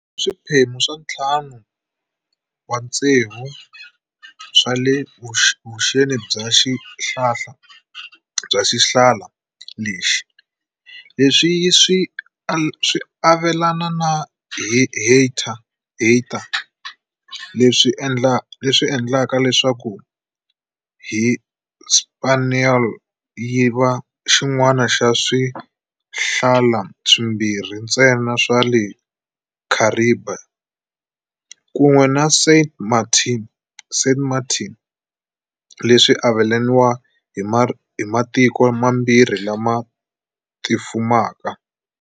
Swiphemu swa ntlhanu wa vutsevu swa le vuxeni bya xihlala lexi, leswi yi swi avelana na Haiti, leswi endlaka leswaku Hispaniola yi va xin'wana xa swihlala swimbirhi ntsena swa le Kharibiya, kun'we na Saint Martin, leswi avelaniwa hi matiko mambirhi lama tifumaka.